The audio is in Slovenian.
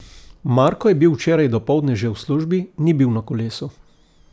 Marko je bil včeraj dopoldne že v službi, ni bil na kolesu.